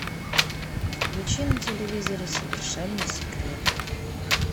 включи на телевизоре совершенно секретно